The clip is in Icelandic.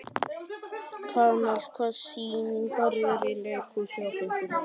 Kamal, hvaða sýningar eru í leikhúsinu á fimmtudaginn?